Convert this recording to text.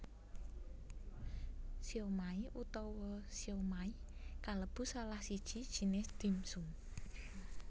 Siomai utawa siomay kalebu salah siji jinis dim sum